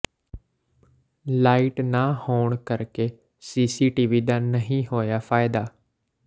light ਨਾ ਹੋਣ ਕਰ ਕੇ ਸੀਸੀਟੀਵੀ ਦਾ ਨਹੀਂ ਹੋਇਆ ਫਾਇਦਾ